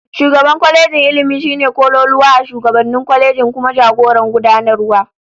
Shugaban kwalejin Ilmi shine kololuwa a shugabannin kwalejin, kuma jagoran gudanarwa